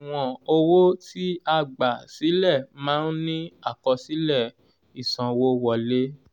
àṣùwọ̀n owó ti a gbà sílẹ̀ máa ń ní àkọsílẹ̀ ìsanwówọlé.